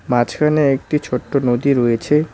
মাঝখানে একটি ছোট্ট নদী রয়েছে।